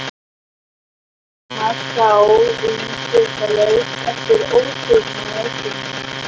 Thomas sá umsvifalaust eftir ósvífni sinni.